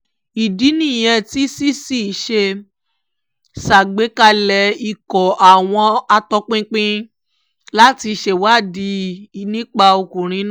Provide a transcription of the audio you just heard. ìdí nìyẹn tí cc ṣe ṣàgbékalẹ̀ ikọ̀ àwọn àtòpinpin láti ṣèwádìí nípa ọkùnrin náà